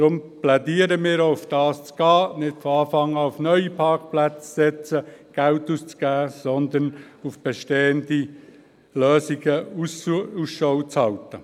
Deshalb plädieren wir auch dafür, nicht von Anfang an auf neue Parkplätze zu setzen, Geld auszugeben, sondern nach bestehenden Lösungen Ausschau zu halten.